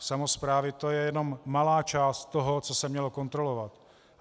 Samosprávy, to je jenom malá část toho, co se mělo kontrolovat.